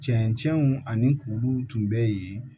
Cɛncɛnw ani kuruw tun bɛ yen